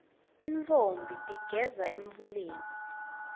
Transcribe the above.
tintfombi tigeza emfuleni